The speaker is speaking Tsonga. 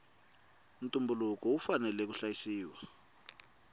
ntumbuluko wu fanela wu hlayisiwa